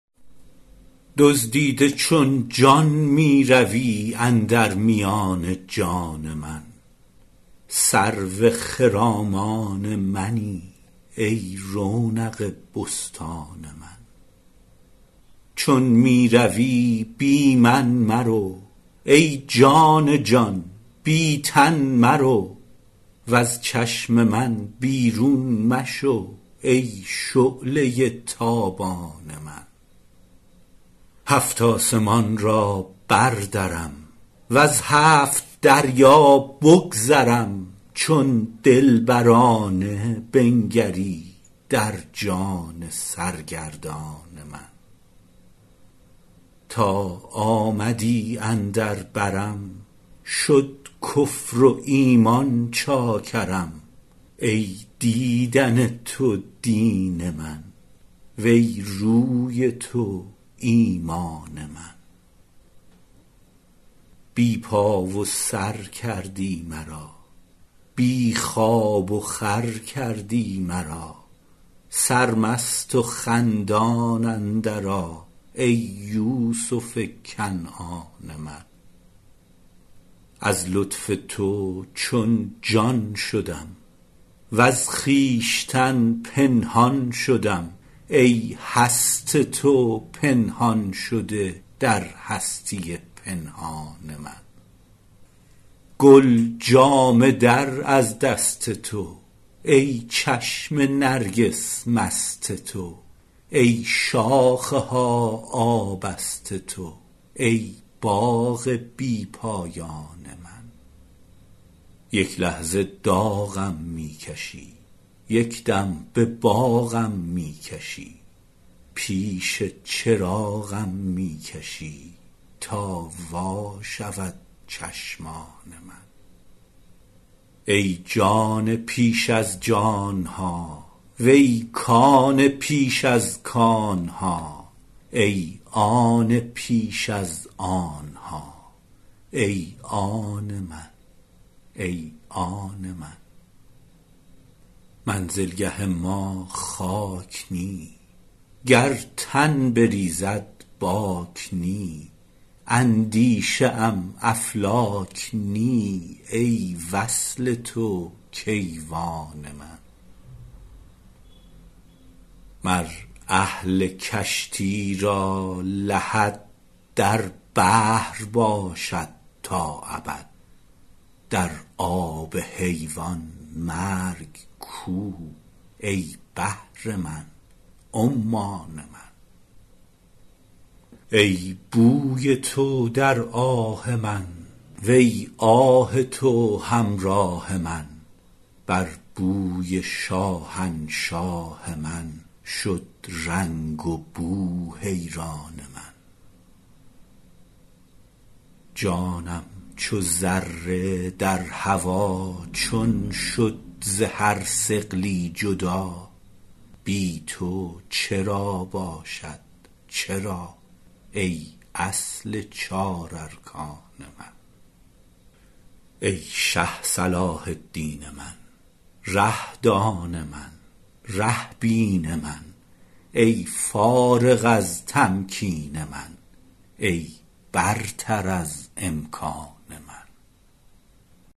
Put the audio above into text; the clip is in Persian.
دزدیده چون جان می روی اندر میان جان من سرو خرامان منی ای رونق بستان من چون می روی بی من مرو ای جان جان بی تن مرو وز چشم من بیرون مشو ای شعله ی تابان من هفت آسمان را بردرم وز هفت دریا بگذرم چون دلبرانه بنگری در جان سرگردان من تا آمدی اندر برم شد کفر و ایمان چاکرم ای دیدن تو دین من وی روی تو ایمان من بی پا و سر کردی مرا بی خواب وخور کردی مرا سرمست و خندان اندرآ ای یوسف کنعان من از لطف تو چون جان شدم وز خویشتن پنهان شدم ای هست تو پنهان شده در هستی پنهان من گل جامه در از دست تو ای چشم نرگس مست تو ای شاخ ها آبست تو ای باغ بی پایان من یک لحظه داغم می کشی یک دم به باغم می کشی پیش چراغم می کشی تا وا شود چشمان من ای جان پیش از جان ها وی کان پیش از کان ها ای آن پیش از آن ها ای آن من ای آن من منزلگه ما خاک نی گر تن بریزد باک نی اندیشه ام افلاک نی ای وصل تو کیوان من مر اهل کشتی را لحد در بحر باشد تا ابد در آب حیوان مرگ کو ای بحر من عمان من ای بوی تو در آه من وی آه تو همراه من بر بوی شاهنشاه من شد رنگ وبو حیران من جانم چو ذره در هوا چون شد ز هر ثقلی جدا بی تو چرا باشد چرا ای اصل چار ارکان من ای شه صلاح الدین من ره دان من ره بین من ای فارغ از تمکین من ای برتر از امکان من